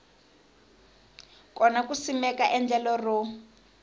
kona ku simeka endlelo ro